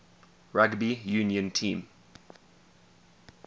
rugby union team